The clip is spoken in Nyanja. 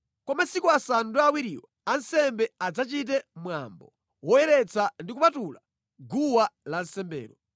Kwa masiku asanu ndi awiriwo ansembe adzachite mwambo woyeretsa ndi kupatula guwa lansembelo.